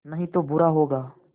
नहीं तो बुरा होगा